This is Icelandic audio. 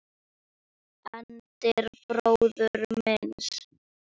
Eldri bróður míns?